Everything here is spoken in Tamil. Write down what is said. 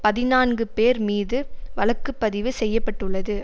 பதினான்கு பேர் மீது வழக்கு பதிவு செய்ய பட்டுள்ளது